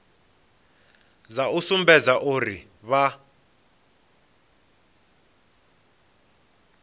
dza u sumbedza uri vha